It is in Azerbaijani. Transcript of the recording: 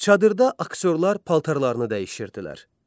Çadırda aktyorlar paltarlarını dəyişirdilər.